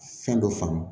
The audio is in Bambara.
Fɛn dɔ faamu